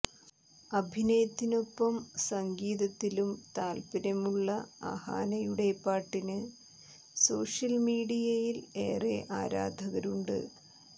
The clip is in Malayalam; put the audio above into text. അഭിനയത്തിനൊപ്പം സംഗീതത്തിലും താൽപ്പര്യമുള്ള അഹാനയുടെ പാട്ടിന് സോഷ്യൽ മീഡിയയിൽ ഏറെ ആരാധകരുണ്ട്